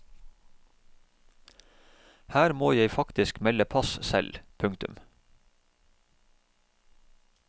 Her må jeg faktisk melde pass selv. punktum